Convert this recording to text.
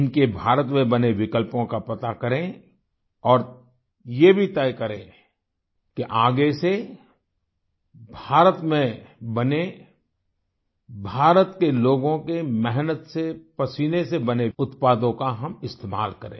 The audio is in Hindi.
इनके भारत में बने विकल्पों का पता करें और ये भी तय करें कि आगे से भारत में बने भारत के लोगों के मेहनत से पसीने से बने उत्पादों का हम इस्तेमाल करें